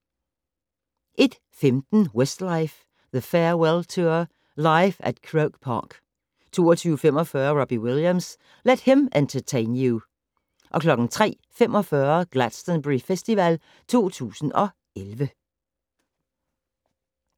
01:15: Westlife: The Farewell Tour - Live At Croke Park 02:45: Robbie Williams - Let him entertain you 03:45: Glastonbury Festival 2011